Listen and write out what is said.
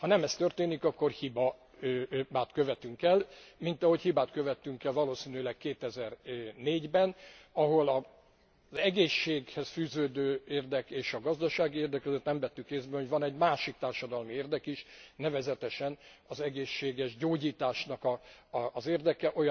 Ha nem ez történik, akkor hibát követünk el, mint ahogy hibát követtünk el valószínűleg 2004 ben, ahol az egészséghez fűződő érdek és a gazdasági érdek között nem vettük észre, hogy van egy másik társadalmi érdek is, nevezetesen az egészséges gyógyításnak az érdeke.